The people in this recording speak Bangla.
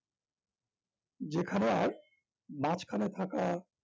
যেখানে আর মাঝখানে থাকা